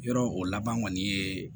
Yɔrɔ o laban kɔni ye